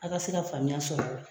A ka se ka faamuya sɔrɔ ala.